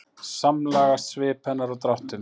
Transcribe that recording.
Samlagast svip hennar og dráttum.